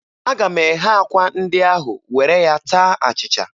Aga m eghe akwa ndị ahụ were ya taa achịcha.